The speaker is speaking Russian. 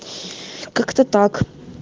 как-то так